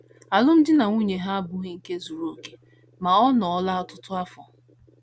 Alụmdi na nwunye ha abụghị nke ndị zuru okè, ma ọ nọọla ọtụtụ afọ.